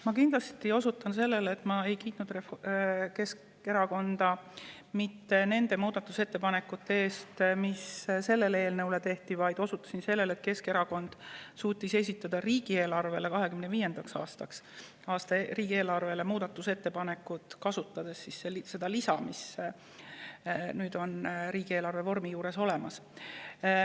Ma ütlen kõigepealt seda, et kindlasti ma ei kiitnud Keskerakonda mitte nende muudatusettepanekute eest, mis selle eelnõu kohta tehti, vaid osutasin sellele, et Keskerakond suutis esitada 2025. aasta riigieelarve kohta muudatusettepanekud, kasutades seda lisa, mis nüüd on riigieelarve vormi juures olemas.